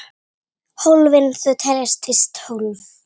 Hólfin þau teljast víst tólf.